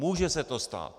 Může se to stát.